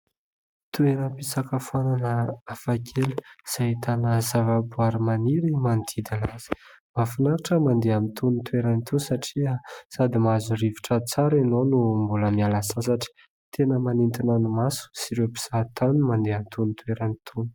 Toeram-pisakafoanana hafa kely izay ahitana zava-boary maniry manodidina azy, mahafinaritra ny mandeha amin'itony toerana itony satria sady mahazo rivotra tsara ianao no mbola miala sasatra, tena manintona ny maso sy ireo mpizaha tany no mandeha amin'itony toerana itony.